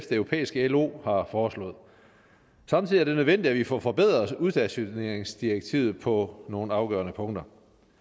det europæiske lo har foreslået samtidig er det nødvendigt at vi får forbedret udstationeringsdirektivet på nogle afgørende punkter